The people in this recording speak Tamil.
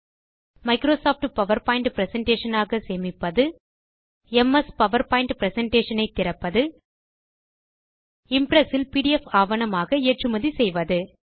மைக்ரோ சாஃப்ட் பவர்பாயிண்ட் பிரசன்டேஷன் ஆக சேமிப்பது எம்எஸ் பவர்பாயிண்ட் பிரசன்டேஷன் ஐ திறப்பது இம்ப்ரெஸ் இல் பிடிஎஃப் ஆவணமாக ஏற்றுமதி செய்வது